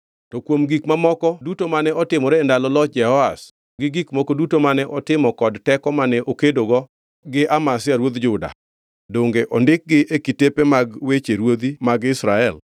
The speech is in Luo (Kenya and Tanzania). To kuom gik mamoko duto mane otimore e ndalo loch Jehoash, gi gik moko duto mane otimo kod teko mane okedogi Amazia ruodh Juda, donge ondikgi e kitepe mag weche ruodhi mag Israel?